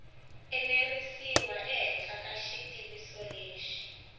enerisiwa ehenhla ka xitiviso lexi